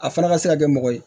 A fana ka se ka kɛ mɔgɔ ye